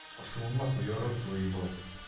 пошёл нахуй я рот твой ебал